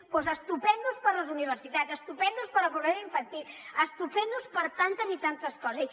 doncs estupends per a les universitats estupends per a la pobresa infantil estupends per a tantes i tantes coses